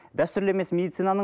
дәстүрлі емес медицинаның